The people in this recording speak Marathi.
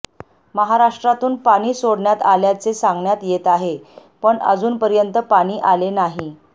महाराष्ट्रातून पाणी सोडण्यात आल्याचे सांगण्यात येत आहे पण अजूनपर्यंत पाणी आले नाही